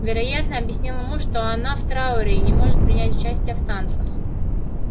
вероятно объяснял ему что она в трауре и не может принять участия в танцах